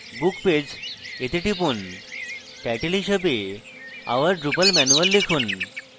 book page এ টিপুন title হিসাবে our drupal manual লিখুন